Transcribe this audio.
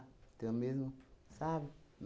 Então, mesmo, sabe?